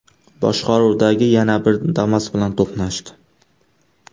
boshqaruvidagi yana bir Damas bilan to‘qnashdi.